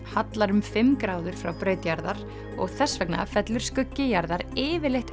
hallar um fimm gráður frá braut jarðar og þess vegna fellur skuggi jarðar yfirleitt